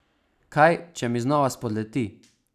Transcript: Kaj če mi znova spodleti?